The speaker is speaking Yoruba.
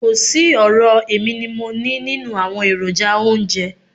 Kò sí ọ̀rọ̀ èmi ni mo nií nínú àwọn èròjà oúnjẹ.